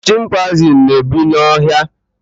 chimpaizin na ebi na ọhịa